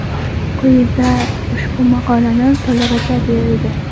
Quyida ushbu maqolani to‘lig‘icha berildi.